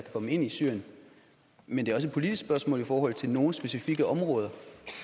komme ind i syrien men det er også et politisk spørgsmål i forhold til nogle specifikke områder